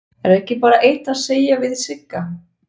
Er ekki bara eitt að segja við Sigga?